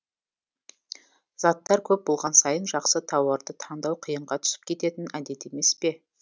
заттар көп болған сайын жақсы тауарды таңдау қиынға түсіп кететін әдеті емес пе